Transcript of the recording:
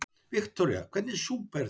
Viktoría: Hvernig súpa er þetta?